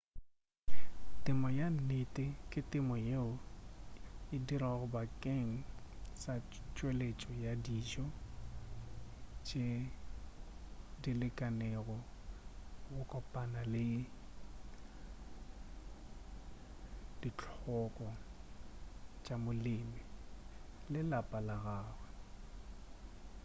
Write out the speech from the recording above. temo ya nnete ke temo yeo e dirwago bakeng sa tšweletšo ya dijo tše dilekanego go kopana le dihloko tša molemi le lapa la gagwe